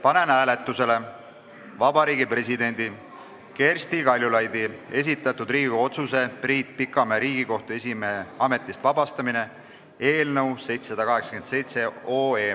Panen hääletusele Vabariigi Presidendi Kersti Kaljulaidi esitatud Riigikogu otsuse "Priit Pikamäe Riigikohtu esimehe ametist vabastamine" eelnõu 787.